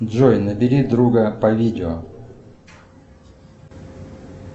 джой набери друга по видео